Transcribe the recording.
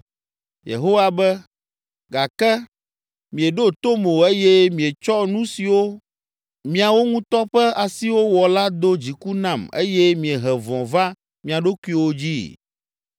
Yehowa be, “Gake mieɖo tom o eye mietsɔ nu siwo miawo ŋutɔ ƒe asiwo wɔ la do dziku nam eye miehe vɔ̃ va mia ɖokuiwo dzii.”